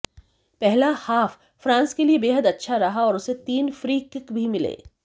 पहला half France के लिए बेहद अच्छा रहा और उसे तीन फ्री कीक भी मिले